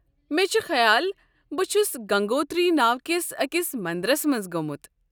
مےٚ چھُ خیال بہٕ چھُس گنگوتری ناوٕ کِس أکس مندرس منٛز گوٚمُت۔